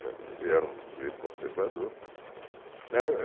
Ele era um sujeito conservador. Era